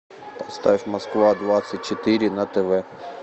ставь москва двадцать четыре на тв